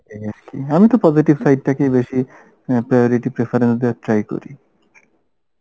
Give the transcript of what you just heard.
এই আর কি আমি তো positive side টাকেই বেশী priority preferance দেবার try করি